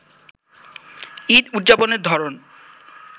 ঈদ উদযাপনের ধরন